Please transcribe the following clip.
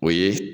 O ye